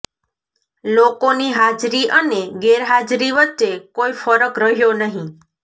લોકોની હાજરી અને ગેરહાજરી વચ્ચે કોઈ ફરક રહ્યો નહીં